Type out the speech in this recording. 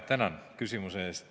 Tänan küsimuse eest!